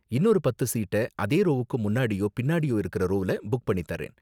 இன்னொரு பத்து சீட்ட அந்த ரோவுக்கு முன்னாடியோ பின்னாடியோ இருக்கற ரோவ்ல புக் பண்ணி தர்றேன்.